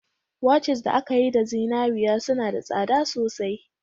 Watches da aka yi da zinariya suna da tsada sosai